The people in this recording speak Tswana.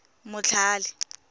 motlhale